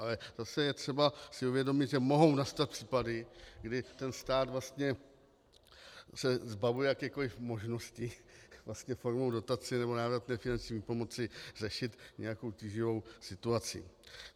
Ale zase je třeba si uvědomit, že mohou nastat případy, kdy ten stát vlastně se zbavuje jakékoli možnosti vlastně formou dotace nebo návratné finanční výpomoci řešit nějakou tíživou situaci.